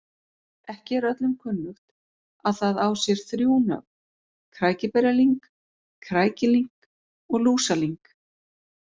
Ekki er öllum kunnugt að það á sér þrjú nöfn, krækiberjalyng, krækilyng og lúsalyng.